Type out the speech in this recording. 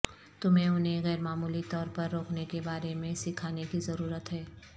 تمہیں انہیں غیرمعمولی طور پر روکنے کے بارے میں سکھانے کی ضرورت ہے